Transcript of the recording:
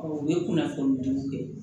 u ye kunnafoni jugu kɛ